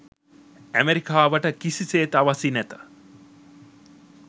ඇමෙරිකාවට කිසිසේත් අවැසි නැත